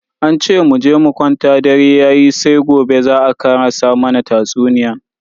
An ce muje mu kwanta dare yayi sai gobe za a karasa mana tatsuniyan.